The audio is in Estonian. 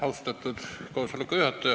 Austatud juhataja!